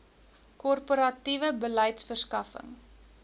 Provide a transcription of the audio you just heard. korporatiewe beleid verskaffing